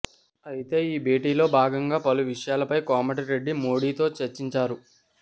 అయితే ఈ భేటీలో భాగంగా పలు విషయాలపై కోమటి రెడ్డి మోదీతో చర్చించారు